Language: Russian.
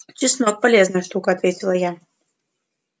чеснок полезная штука ответил я